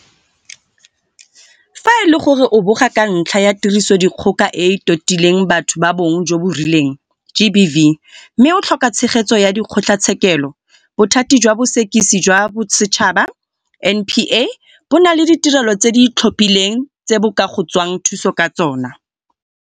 Fa e le gore o a boga ka ntlha ya Tirisodikgoka e e Totileng Batho ba Bong jo bo Rileng, GBV, mme o tlhoka tshegetso ya dikgotla tshekelo, Bothati jwa Bosekisi jwa Bosetšhaba, NPA, bo na le ditirelo tse di itlhophileng tse bo ka go tswang thuso ka tsona.